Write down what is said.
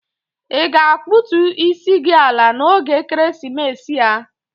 Ị ga-akpụtų isi gi ala n'oge ekeresimesi a?